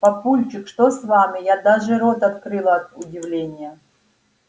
папульчик что с вами я даже рот открыла от удивления